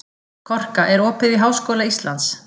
Korka, er opið í Háskóla Íslands?